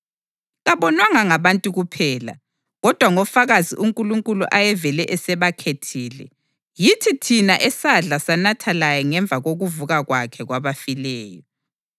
Kabonwanga ngabantu bonke, kodwa ngofakazi uNkulunkulu ayevele esebakhethile, yithi thina esadla sanatha laye ngemva kokuvuka kwakhe kwabafileyo.